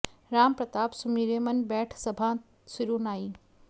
राम प्रताप सुमिरि मन बैठ सभाँ सिरु नाइ